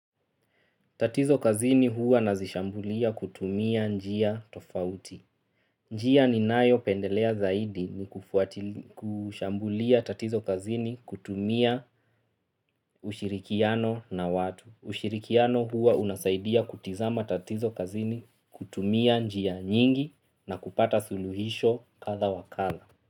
Tatizo kazini huwa nazishambulia kutumia njia tofauti. Njia ninayo pendelea zaidi ni kufuatilia kushambulia tatizo kazini kutumia ushirikiano na watu. Ushirikiano huwa unasaidia kutizama tatizo kazini kutumia njia nyingi na kupata suluhisho kadha wa kadha.